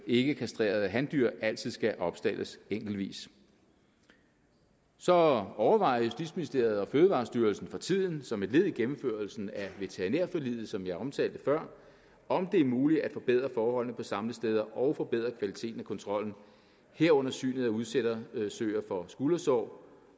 ikkekastrerede handyr altid skal opstaldes enkeltvis så overvejer justitsministeriet og fødevarestyrelsen for tiden som et led i gennemførelsen af veterinærforliget som jeg omtalte før om det er muligt at forbedre forholdene på samlesteder og forbedre kvaliteten af kontrollen herunder synet af udsættersøer for skuldersår